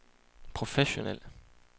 professionel